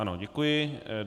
Ano, děkuji.